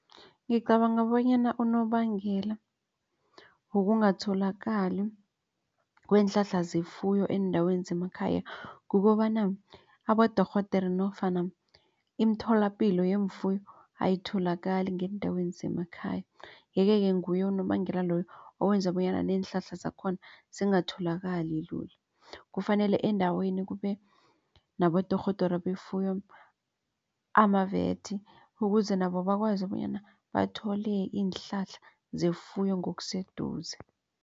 Ngicabanga bonyana unobangela wokungatholakali kweenhlahla zefuyo eendaweni zemakhaya kukobana abodorhodere nofana imitholapilo yeemfuyo ayitholakali ngeendaweni zemakhaya. Yeke-ke nguye unobangela loyo owenza bonyana neenhlahla zakhona zingatholakali lula kufanele endaweni kube nabodorhodere befuyo ama-vats ukuze nabo bakwazi bonyana bathole iinhlahla zefuyo ngokuseduze.